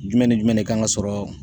Jumɛn ni jumɛn de kan ka sɔrɔ